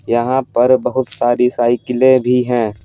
यहाँ पर बहुत सारी साइकिलें भी हैं।